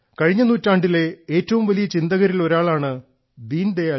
കഴിഞ്ഞ നൂറ്റാണ്ടിലെ ഏറ്റവും വലിയ ചിന്തകരിൽ ഒരാളാണ് ശ്രീ ദീൻദയാൽ